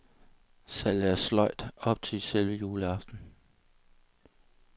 Salget er sløjt op til selve juleaften.